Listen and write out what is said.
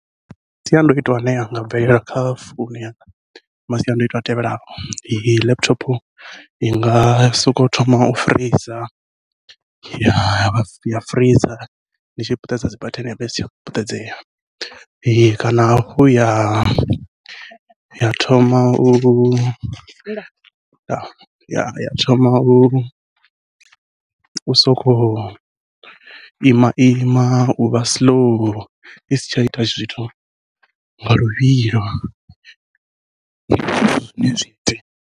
Masiandoitwa ane anga bvelela kha founu ya masiandoitwa a tevhelaho, laptop inga sokou thoma u freezor ya ya freezor ndi tshi puṱedza dzi bathene yavha isi tsha puṱedzeya kana hafhu ya ya thoma u thoma u u soko ima ima, uvha siḽou isi tsha ita zwithu nga luvhilo zwine zwi .